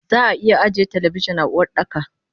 Zaa iya ajiye talabijin a Uwardaka